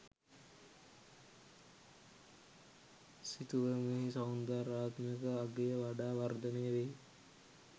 සිතුවමෙහි සෞන්දර්යාත්මක අගය වඩා වර්ධනය වෙයි.